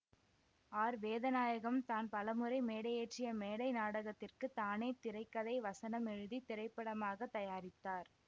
R Vedanayagam தான் பலமுறை மேடையேற்றிய மேடை நாடகத்திற்கு தானே திரை கதை வசனம் எழுதி திரைப்படமாக தயாரித்தார்